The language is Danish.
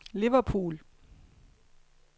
Liverpool